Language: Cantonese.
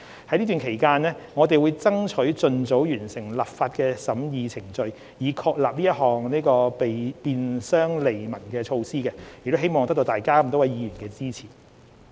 在此期間，我們會爭取盡早完成立法審議程序，以確立這項便商利民的措施，亦希望得到各位議員支持。